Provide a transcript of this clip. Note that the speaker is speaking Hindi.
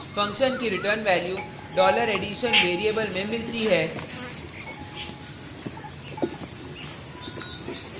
फंक्शन की रिटर्न वैल्यू $addition वेरिएबल में मिलती है